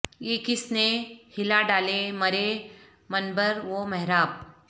یہ کس نے ہلا ڈالے مرے منبر و محراب